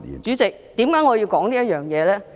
主席，為何我要談這方面呢？